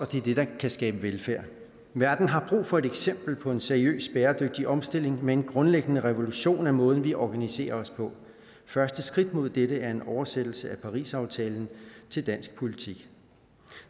det er det der kan skabe velfærd verden har brug for et eksempel på en seriøs bæredygtig omstilling med en grundlæggende revolution af måden vi organiserer os på første skridt mod dette er en oversættelse af parisaftalen til dansk politik